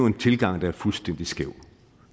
en tilgang der er fuldstændig skæv